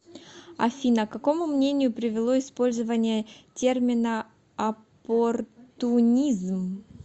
афина к какому мнению привело использование термина оппортунизм